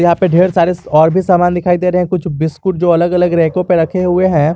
यहां पे ढेर सारे और भी सामान दिखाई दे रहे हैं कुछ बिस्कुट जो अलग अलग रैकों पे रखे हुए हैं।